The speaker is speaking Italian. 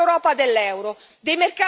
dei mercati della grande finanza?